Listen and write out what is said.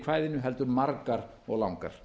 kvæðinu heldur margar og langar